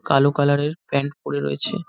কালো কালার এর প্যান্ট পরে রয়েছে।